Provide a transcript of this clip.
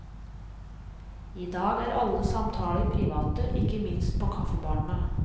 I dag er alle samtaler private, ikke minst på kaffebarene.